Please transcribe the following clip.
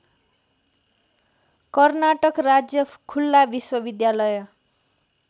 कर्नाटक राज्य खुल्ला विश्वविद्यालय